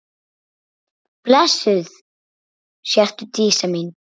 Blessuð sértu Dísa mín.